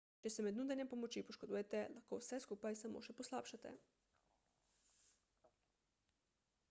če se med nudenjem pomoči poškodujete lahko vse skupaj samo še poslabšate